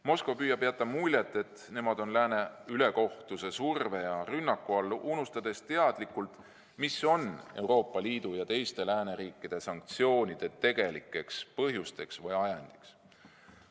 Moskva püüab jätta muljet, et nemad on lääne ülekohtuse surve ja rünnaku all, unustades teadlikult, mis on Euroopa Liidu ja teiste lääneriikide sanktsioonide tegelikeks põhjusteks või ajenditeks.